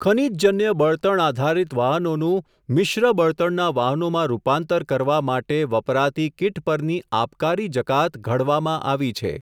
ખનિજજન્ય બળતણ આધારિત વાહનોનું મિશ્ર બળતણના વાહનોમાં રૂપાંતર કરવા માટે, વપરાતી કિટ પરની આબકારી જકાત ઘડવામાં આવી છે.